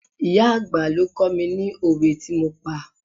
Ìyá àgbà ló kó mi ni òwe tí mo pa.